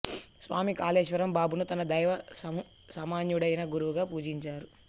స్వామి కాళేశ్వర్ బాబాను తన దైవ సమానుడైన గురువుగా పూజించారు